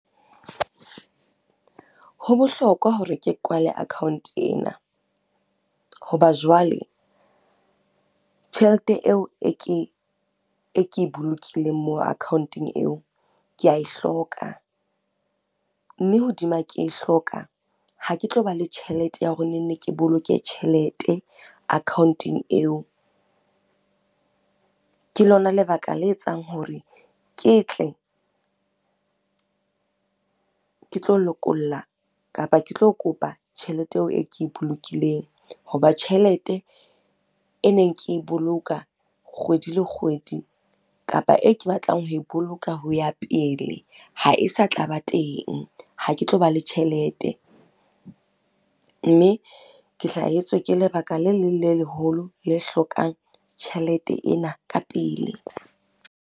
Ho bohlokwa hore ke kwale account ena. Ho ba jwale, tjhelete eo e ke e bolokileng moo account-ong eo, ke a e hloka. Mme hodima ke e hloka, ha ke tlo ba le tjhelete ya hore ke boloke tjhelete account-ong eo. Ke lona lebaka le etsang hore ke tle, ke tlo lokolla kapa ke tlo kopa tjhelete eo e ke e bolokileng. Ho ba tjhelete e neng ke e boloka kgwedi le kgwedi kapa e ke batlang ho e boloka ho ya pele ha e sa tlaba teng, ha ke tlo ba le tjhelete. Mme ke hlahetswe ke lebaka le leng le leholo le hlokang tjhelete ena ka pele.